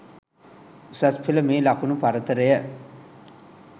උසස් පෙළ මේ ලකුණු පරතරය